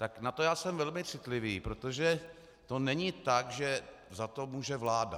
Tak na to já jsem velmi citlivý, protože to není tak, že za to může vláda.